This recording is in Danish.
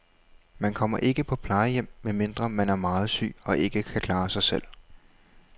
Man kommer ikke på plejehjem, medmindre man er meget syg og ikke kan klare sig selv.